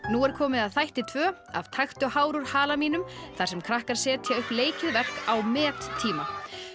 nú er komið að þætti tvö af taktu hár úr hala mínum þar sem krakkar setja upp leikið verk á mettíma